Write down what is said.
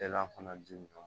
fana dun